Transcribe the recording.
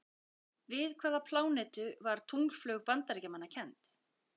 Við hvaða plánetu var tunglflaug Bandaríkjamanna kennd?